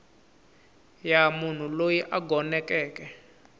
ya munhu loyi a gonekeke